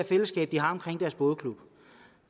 fællesskab de har omkring deres bådeklub